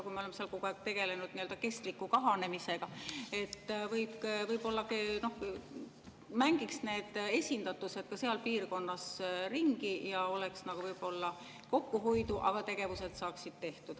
Kui me oleme seal kogu aeg tegelenud nii-öelda kestliku kahanemisega, võib-olla mängiks siis need esindatused seal piirkonnas ringi ja oleks võib-olla kokkuhoidu, aga tegevused saaksid tehtud.